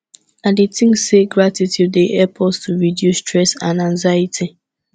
i dey think say gratitude dey help us to reduce stress and anxiety